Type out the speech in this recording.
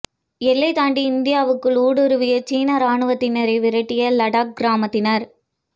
எல்லை தாண்டி இந்தியாவுக்குள் ஊடுருவிய சீன ராணுவத்தினரை விரட்டியடித்த லடாக் கிராமத்தினர்